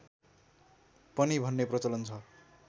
पनि भन्ने प्रचलन छ